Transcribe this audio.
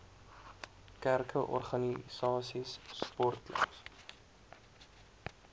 kerke organisasies sportklubs